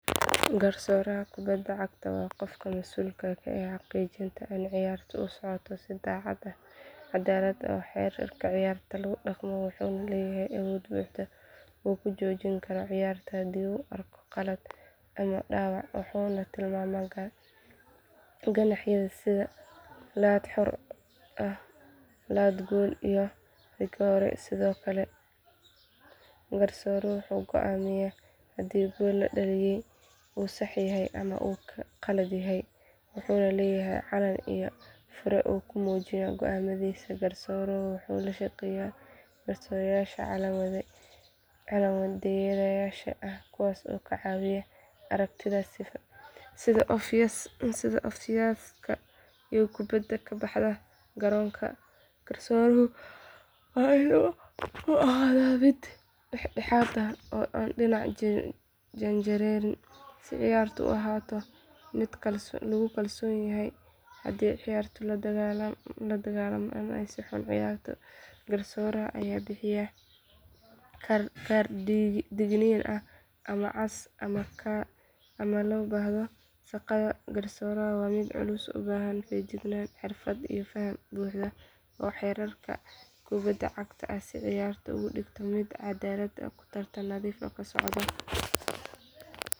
Garsooraha kubadda cagta waa qofka mas’uulka ka ah xaqiijinta in ciyaartu u socoto si caddaalad ah oo xeerarka ciyaarta lagu dhaqmo wuxuu leeyahay awood buuxda oo uu ku joojin karo ciyaarta haddii uu arko qalad ama dhaawac wuxuuna tilmaamaa ganaaxyada sida laad xor ah laad gool iyo rigoore sidoo kale garsooruhu wuxuu go’aamiyaa haddii gool la dhaliyay uu sax yahay ama uu khaldan yahay wuxuuna leeyahay calan iyo fure uu ku muujiyo go’aamadiisa garsooruhu wuxuu la shaqeeyaa garsooreyaasha calanwadeyaasha ah kuwaas oo ka caawiya aragtiyada sida ofsaydka iyo kubbadda ka baxda garoonka garsooruhu waa in uu ahaadaa mid dhexdhexaad ah aan dhinacna u janjeerin si ciyaartu u ahaato mid lagu kalsoon yahay haddii ciyaartoy la dagaalamo ama si xun u ciyaaro garsooraha ayaa bixiya kaar digniin ah ama cas marka loo baahdo shaqada garsooraha waa mid culus oo u baahan feejignaan xirfad iyo faham buuxa oo xeerarka kubadda cagta ah si uu ciyaarta uga dhigo mid cadaalad iyo tartan nadiif ah ku socota.